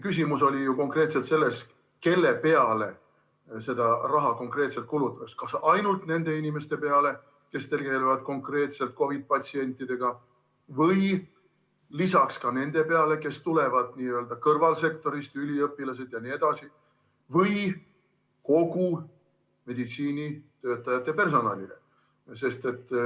Küsimus oli ju selles, kelle peale seda raha kulutatakse: kas ainult nende inimeste peale, kes tegelevad konkreetselt COVID‑patsientidega, või ka nende peale, kes tulevad n‑ö kõrvalsektorist, üliõpilased jne, või kogu meditsiinipersonalile.